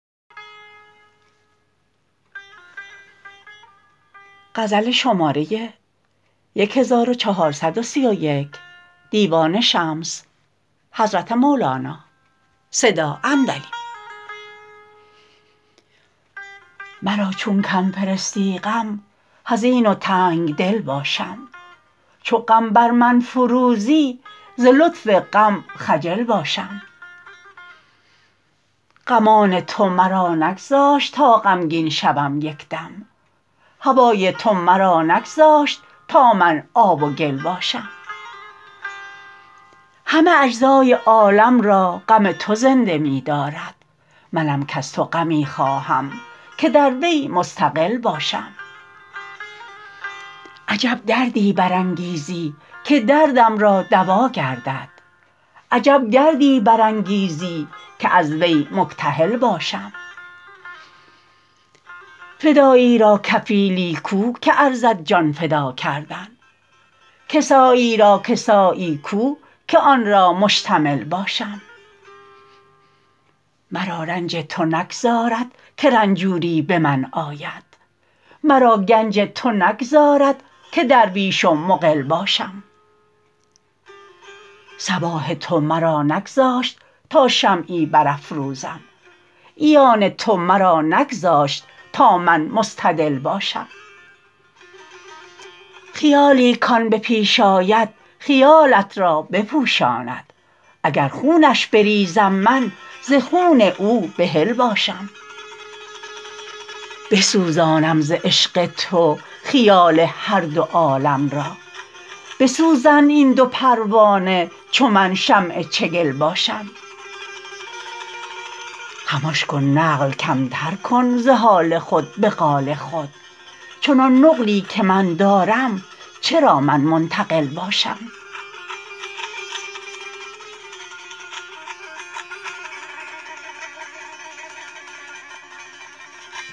مرا چون کم فرستی غم حزین و تنگ دل باشم چو غم بر من فروریزی ز لطف غم خجل باشم غمان تو مرا نگذاشت تا غمگین شوم یک دم هوای تو مرا نگذاشت تا من آب و گل باشم همه اجزای عالم را غم تو زنده می دارد منم کز تو غمی خواهم که در وی مستقل باشم عجب دردی برانگیزی که دردم را دوا گردد عجب گردی برانگیزی که از وی مکتحل باشم فدایی را کفیلی کو که ارزد جان فدا کردن کسایی را کسایی کو که آن را مشتمل باشم مرا رنج تو نگذارد که رنجوری به من آید مرا گنج تو نگذارد که درویش و مقل باشم صباح تو مرا نگذاشت تا شمعی برافروزم عیان تو مرا نگذاشت تا من مستدل باشم خیالی کان به پیش آید خیالت را بپوشاند اگر خونش بریزم من ز خون او بحل باشم بسوزانم ز عشق تو خیال هر دو عالم را بسوزند این دو پروانه چو من شمع چگل باشم خمش کن نقل کمتر کن ز حال خود به قال خود چنان نقلی که من دارم چرا من منتقل باشم